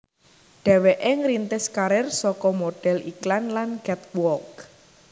Dhéwéké ngrintis karir saka modhél iklan lan catwalk